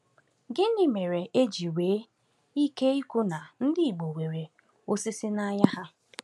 Gịnị mere e ji nwee ike ikwu na ndị Igbo nwere “osisi n’anya ha”?